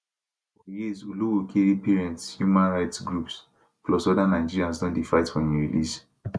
for years olowookere parents human rights groups plus oda nigerians don dey fight for im release